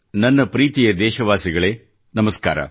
ನನ್ನ ಪ್ರೀತಿಯ ದೇಶವಾಸಿಗಳೇ ನಮಸ್ಕಾರ